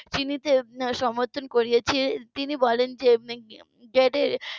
চিনতে সমর্থন করেছে তিনি বলেন যে .